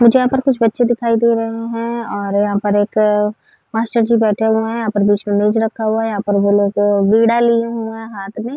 मुझे यहाँ पर कुछ बच्चे दिखाई दे रहे हैं और यहाँ पर एक मास्टरजी बैठे हुऐ हैं। यहाँ पर बीच में मेज रखा हुआ है। यहाँ पर वे लोग वीणा लिए हुऐ हैं हाथ में --